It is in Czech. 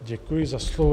Děkuji za slovo.